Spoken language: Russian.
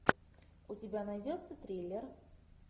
у тебя найдется триллер